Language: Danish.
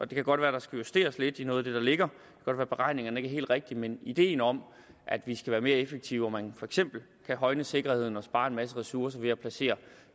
det kan godt være der skal justeres lidt i noget af det der ligger og at beregningerne ikke er helt rigtige men ideen om at vi skal være mere effektive og at man for eksempel kan højne sikkerheden og spare en masse ressourcer ved at placere